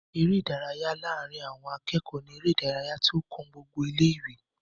eré ìdárayá láàrin àwon akéọ̀ọ́ ní eré ìdárayá tí ó kan gbogbo ilé ìwé